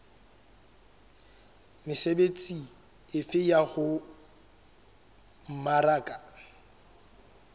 mesebetsi efe ya ho mmaraka